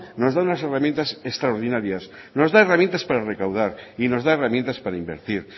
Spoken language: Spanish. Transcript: nos da unas herramientas extraordinarias nos da herramientas para recaudar y nos da herramientas para invertir